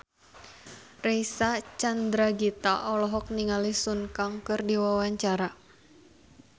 Reysa Chandragitta olohok ningali Sun Kang keur diwawancara